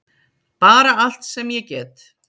Bara allt sem ég get.